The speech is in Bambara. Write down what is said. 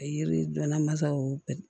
Yiri donna mansaw